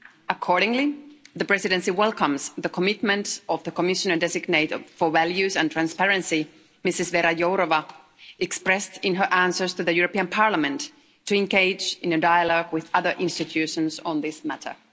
Accordingly, the Presidency welcomes the commitment of the Commissioner-designate for Values and Transparency, Ms Jourová, expressed in her answers to the European Parliament to engage in a dialogue with other institutions on this matter.